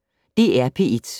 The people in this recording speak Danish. DR P1